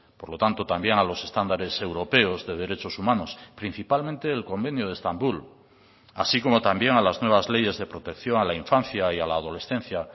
por lo tanto también a los estándares europeos de derechos humanos principalmente el convenio de estambul así como también a las nuevas leyes de protección a la infancia y a la adolescencia